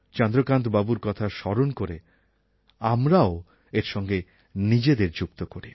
চন্দ্রকান্ত বাবুর কথা স্মরণ করে আমরাও এর সঙ্গে নিজেদের যুক্ত করি